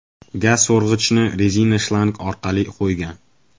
Gaz so‘rg‘ichni rezina shlang orqali qo‘ygan.